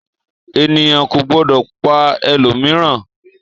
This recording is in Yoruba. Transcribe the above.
Ènìyàn kò gbọdọ̀ pa ẹlòmíràn!